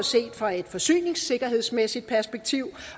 set fra et forsyningssikkerhedsmæssigt perspektiv